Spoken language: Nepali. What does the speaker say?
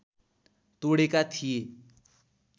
तोडेका थिए